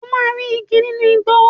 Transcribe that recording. O máa rí igi nínú igbó.